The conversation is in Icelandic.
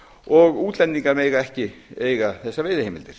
og útlendingar mega ekki eiga þessar veiðiheimildir